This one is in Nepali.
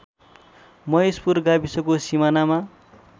महेशपुर गाविसको सिमानामा